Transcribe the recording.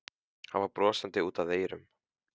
Hann var brosandi út að eyrum.